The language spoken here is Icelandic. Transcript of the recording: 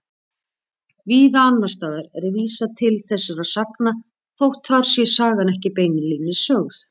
Víða annars staðar er vísað til þessara sagna þótt þar sé sagan ekki beinlínis sögð.